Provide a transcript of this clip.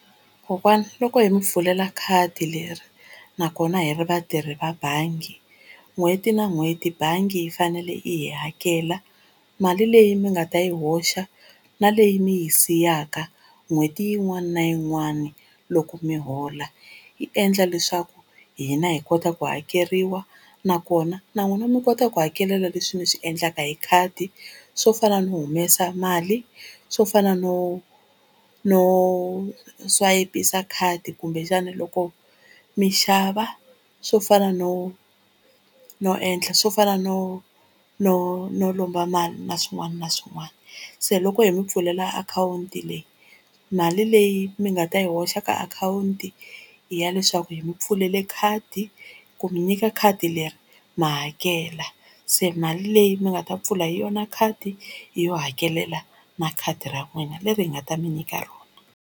Kokwana loko hi mi pfulela khadi leri nakona hi ri vatirhi va bangi n'hweti na n'hweti bangi yi fanele yi hi hakela mali leyi mi nga ta yi hoxa na leyi mi yi siyaka n'hweti yin'wana na yin'wana, loko mi hola yi endla leswaku hina hi kota ku hakeriwa nakona na n'wina mi kota ku hakelela leswi mi swi endlaka hi khadi swo fana no humesa mali, swo fana no no swayipisa khadi kumbexana loko mi xava, swo fana no no endla swo fana no no no lomba mali na swin'wana na swin'wana. Se loko hi mi pfulela akhawunti leyi mali leyi mi nga ta yi hoxa ka akhawunti i ya leswaku hi mi pfulele khadi ku mi nyika khadi leri ma hakela se mali leyi mi nga ta pfula hi yona khadi i yo hakelela na khadi ra n'wina leri hi nga ta mi nyika rona.